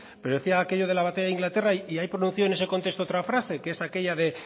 pero decía aquello de la batalla de inglaterra y ahí pronunció en ese contexto otra frase que es aquella de